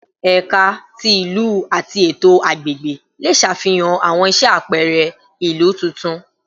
Ẹka ti Ilu ati Eto Agbegbe le ṣafihan awọn iṣẹ apẹrẹ ilu tuntun